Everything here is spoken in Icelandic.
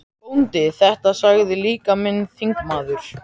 BÓNDI: Þetta sagði líka minn þingmaður